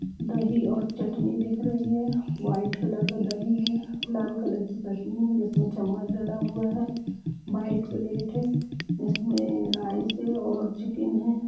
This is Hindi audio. दही और चटनी दिख रही है वाइट कलर का दही है लाल कलर की चटनी है जिसमें चम्मच डाला हुआ है व्हाइट प्लेट है जिसमें राइस और चिकन है ।